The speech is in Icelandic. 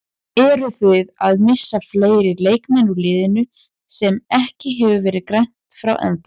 Eruð þið að missa fleiri leikmenn úr liðinu sem ekki hefur verið greint frá ennþá?